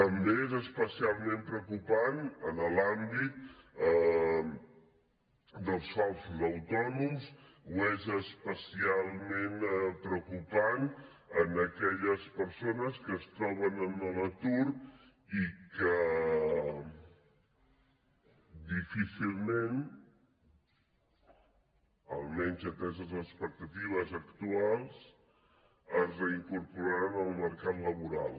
també és especialment preocupant en l’àmbit dels falsos autònoms o és especialment preocupant en aquelles persones que es troben en l’atur i que difícilment almenys ateses les expectatives actuals es reincorporaran en el mercat laboral